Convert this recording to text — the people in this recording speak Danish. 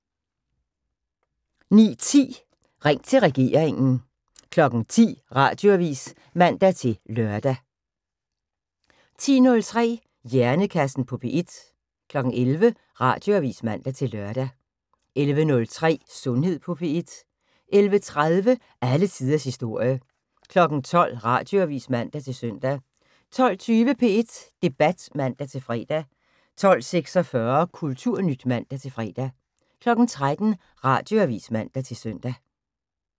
09:10: Ring til regeringen 10:00: Radioavis (man-lør) 10:03: Hjernekassen på P1 11:00: Radioavis (man-lør) 11:03: Sundhed på P1 11:30: Alle tiders historie 12:00: Radioavis (man-søn) 12:20: P1 Debat (man-fre) 12:46: Kulturnyt (man-fre) 13:00: Radioavis (man-søn)